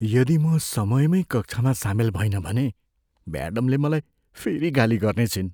यदि म समयमै कक्षामा सामेल भइनँ भने, म्याडमले मलाई फेरि गाली गर्नेछिन्।